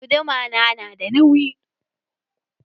Guduma na da nauyi?